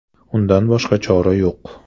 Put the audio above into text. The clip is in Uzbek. Undan boshqa chora yo‘q.